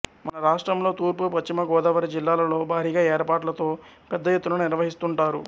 మన రాష్ట్రంలో తూర్పు పశ్చిమ గోదావరి జిల్లాలలో భారీ ఏర్పాట్లతో పెద్ద ఎత్తున నిర్వహిస్తుంటారు